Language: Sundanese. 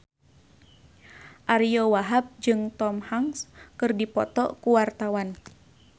Ariyo Wahab jeung Tom Hanks keur dipoto ku wartawan